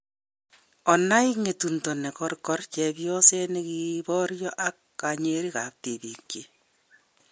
Onai " ng'etundo ne korko" chebyoset na kiboryo ak kanyerik ab tibiikyik